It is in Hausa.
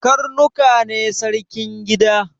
Karnuka ne sarkin gida